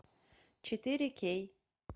четыре кей